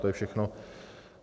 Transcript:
To je všechno.